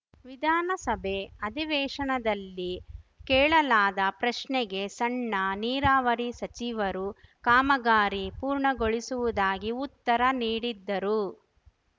ವಿಧಾನಸಭೆ ಅಧಿವೇಶನದಲ್ಲಿ ಕೇಳಲಾದ ಪ್ರಶ್ನೆಗೆ ಸಣ್ಣ ನೀರಾವರಿ ಸಚಿವರು ಕಾಮಗಾರಿ ಪೂರ್ಣಗೊಳಿಸುವುದಾಗಿ ಉತ್ತರ ನೀಡಿದ್ದರು